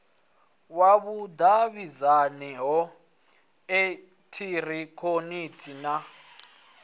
wa vhudavhidzano ha eekihironiki na